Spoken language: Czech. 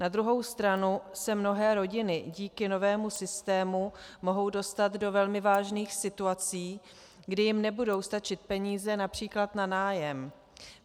Na druhou stranu se mnohé rodiny díky novému systému mohou dostat do velmi vážných situací, kdy jim nebudou stačit peníze například na nájem.